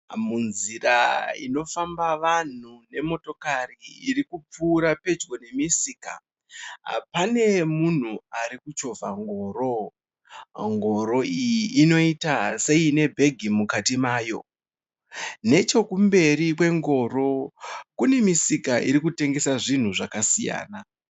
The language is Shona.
Munzira inofamba vanhu nemotokari iri kupfuura pedyo nemusika. Pane munhu arikuchovha ngoro. Ngoro iyi inoita seine bhegi mukati mayo. Nechokumberi kwengoro kune misika irikutengesa zvinhu zvakasiyana.